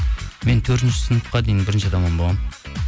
мен төртінші сыныпқа дейін бірінші атаман болғанмын